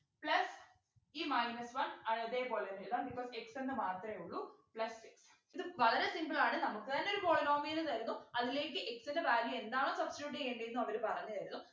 plus ഈ minus one അതേപോലെന്നെ എഴുതാം because x എന്ന് മാത്രേ ഉള്ളു plus ഇത് വളരെ simple ആണ് നമുക്ക് തന്നെ ഒരു polynomial തരുന്നു അതിലേക്ക് x ൻ്റെ value എന്താണ് substitute ചെയ്യണ്ടേ ന്നു അവര് പറഞ്ഞുതരും